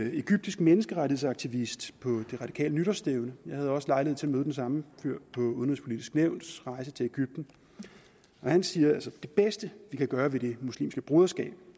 en egyptisk menneskerettighedsaktivist på på de radikales nytårsstævne jeg havde også lejlighed til at møde den samme fyr på udenrigspolitisk nævns rejse til egypten han siger at det bedste vi kan gøre ved det muslimske broderskab